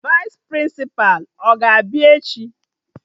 Vaịs Prịnsịpa a ga-abịa echi?